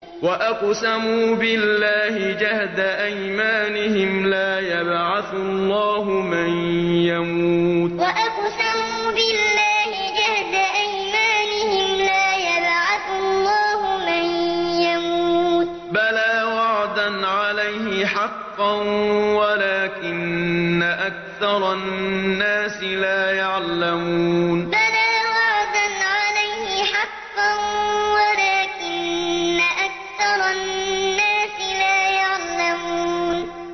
وَأَقْسَمُوا بِاللَّهِ جَهْدَ أَيْمَانِهِمْ ۙ لَا يَبْعَثُ اللَّهُ مَن يَمُوتُ ۚ بَلَىٰ وَعْدًا عَلَيْهِ حَقًّا وَلَٰكِنَّ أَكْثَرَ النَّاسِ لَا يَعْلَمُونَ وَأَقْسَمُوا بِاللَّهِ جَهْدَ أَيْمَانِهِمْ ۙ لَا يَبْعَثُ اللَّهُ مَن يَمُوتُ ۚ بَلَىٰ وَعْدًا عَلَيْهِ حَقًّا وَلَٰكِنَّ أَكْثَرَ النَّاسِ لَا يَعْلَمُونَ